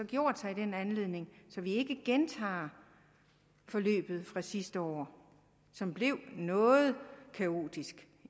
gjort sig i den anledning så vi ikke gentager forløbet fra sidste år som blev noget kaotisk